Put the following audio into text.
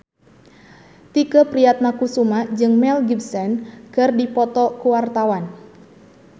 Tike Priatnakusuma jeung Mel Gibson keur dipoto ku wartawan